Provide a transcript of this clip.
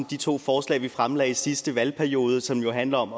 de to forslag vi fremlagde i sidste valgperiode som handler om